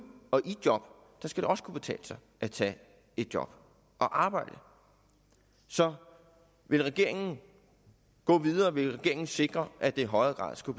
og i job og der skal det også kunne betale sig at tage et job og at arbejde så vil regeringen gå videre vil regeringen sikre at det i højere grad skal